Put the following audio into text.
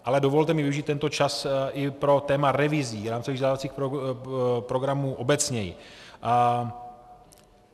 Ale dovolte mi využít ten čas i pro téma revizí rámcových vzdělávacích programů obecněji.